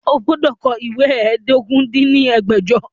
O gbọ́dọ̀ kọ ìwé ẹ́ẹdógún dín ní ẹgbẹ́jọ!